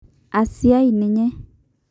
Asiai ninye''.